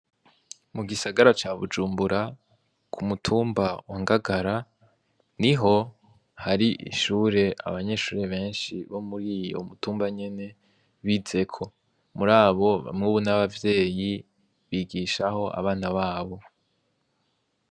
Mu gisagara ca Bujumbura ,k'umutumba wa Ngagara, niho har'ishure abanyeshure benshi bo muri uwo mutumba nyene bizeko. Muri abo bamwe n'abavyeyi bigisha ho abana b'abo.